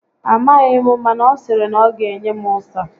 A maghị m, mana ọ sịrị na ọ ga enye m ụsa